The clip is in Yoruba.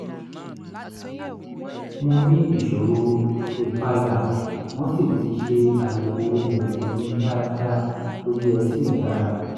mo ní ìṣòro ìpayà wọ́n sì ti ṣe àyẹ̀wò ẹ̀jẹ̀ mi dáadáa gbogbo ẹ̀ sì dára